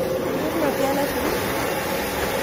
Keker ikokyet ne tui?